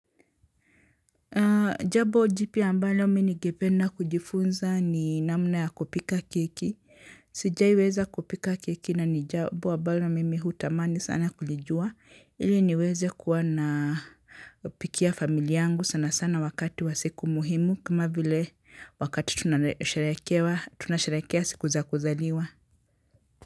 Jambo jipya ambalo mi ningependa kujifunza ni namna ya kupika keki. Sijaiweza kupika keki na ni jambo ambalo mimi hutamani sana kulijua. Ili niweze kuwa napikia familia yangu sana sana wakati wa siku muhimu kama vile wakati tunasharekea siku za kuzaliwa.